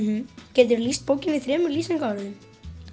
geturðu lýst bókinni í þremur lýsingarorðum